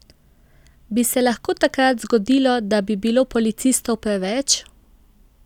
Bi se lahko takrat zgodilo, da bi bilo policistov preveč?